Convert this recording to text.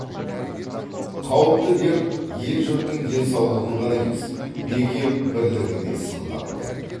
қауіпті дерт ел жұрттың денсаулығын ғана емес бекем бірлігін де сынға алды